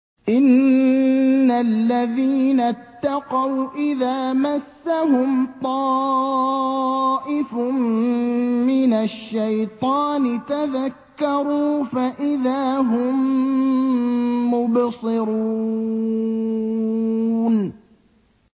إِنَّ الَّذِينَ اتَّقَوْا إِذَا مَسَّهُمْ طَائِفٌ مِّنَ الشَّيْطَانِ تَذَكَّرُوا فَإِذَا هُم مُّبْصِرُونَ